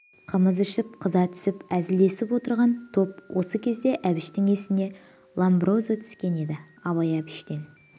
қымыз ішіп қыза түсіп әзілдесіп отырған топ осы кезде әбіштің есіне ломброзо түскен еді абай әбіштен